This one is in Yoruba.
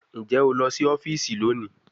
Njẹ o lọ si ọfiisi loni?